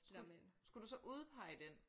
Skulle skulle du så udpege den?